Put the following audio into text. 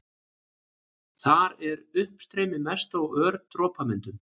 Þar er uppstreymi mest og ör dropamyndun.